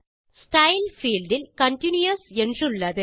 style field இல் continues என்றுள்ளது